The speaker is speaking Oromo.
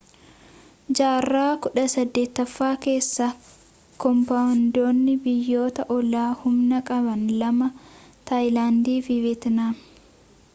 jaarraa 18ffaa keessa kaamboodiyaan biyyoota oollaa humna qaban lama taayilaandi fi veetnaam